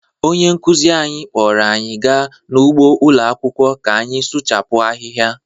Onye nkụzi anyị kpọọrọ anyị gaa n’ugbo ụlọ akwụkwọ ka anyị suchapu ahịhịa